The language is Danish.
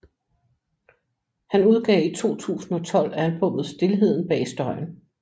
Han udgav i 2012 albummet Stilheden bag støjen